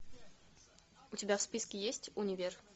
у тебя в списке есть универ